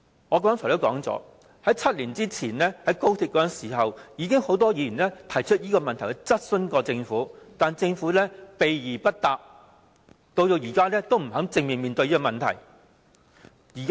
我剛才提及，在7年前決定興建高鐵時，已經有很多議員就此質詢政府，但政府避而不答，到現在仍不肯正面面對這個問題。